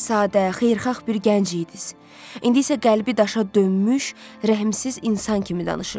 Sadə, xeyirxah bir gənc idiniz, indi isə qəlbi daşa dönmüş rəhmsiz insan kimi danışırsız.